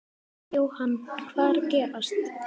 Jóhann, hvað er að gerast?